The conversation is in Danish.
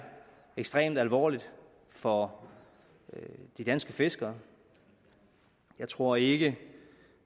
ekstremt alvorligt for de danske fiskere jeg tror ikke